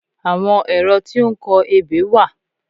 Àwọn ẹ̀rọ tí ó ń kọ ebè wà